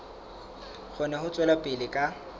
kgone ho tswela pele ka